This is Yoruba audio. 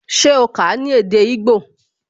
Se o kà á ní èdè igbó?